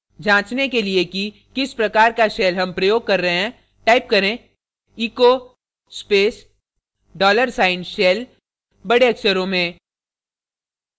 जाँचने के लिए कि किस प्रकार का shell हम प्रयोग कर रहे हैं type करें echo space dollar sign shell बड़े अक्षरों में